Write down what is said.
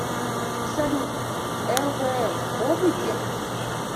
салют лбл обый демб